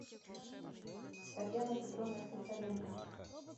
татьяной петровной слесаренко